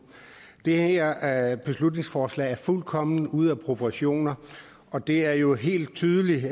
det her beslutningsforslag er fuldkommen ude af proportioner og det er jo helt tydeligt